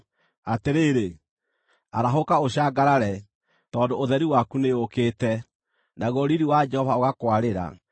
“Atĩrĩrĩ, arahũka ũcangarare, tondũ ũtheri waku nĩũũkĩte, naguo riiri wa Jehova ũgakwarĩra.